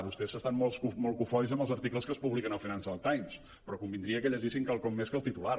vostès estan molt cofois amb els articles que es publiquen al financial times però convindria que llegissin quelcom més que el titular